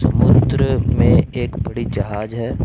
में एक बड़ी जहाज है।